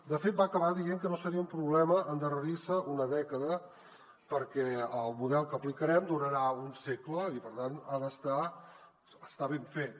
de fet va acabar dient que no seria un problema endarrerir se una dècada perquè el model que aplicarem durarà un segle i per tant ha d’estar ben fet